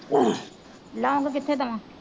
ਲੋਂਗ ਕਿੱਥੇ ਦੇਵਾਂ